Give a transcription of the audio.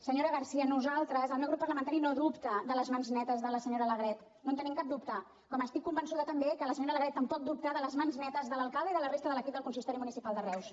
senyora garcía nosaltres el meu grup parlamentari no dubta de les mans netes de la senyora alegret no en tenim cap dubte com estic convençuda també que la senyora alegret tampoc dubta de les mans netes de l’alcalde i de la resta de l’equip del consistori municipal de reus